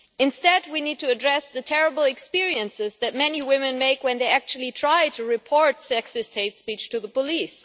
Instead, we need to address the terrible experiences that many women have when they actually try to report sexist hate speech to the police.